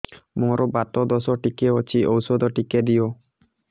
ମୋର୍ ବାତ ଦୋଷ ଟିକେ ଅଛି ଔଷଧ ଟିକେ ଦିଅ